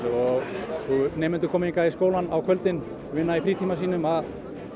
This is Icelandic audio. og nemendur koma hingað í skólann á kvöldin og vinna í frítíma sínum að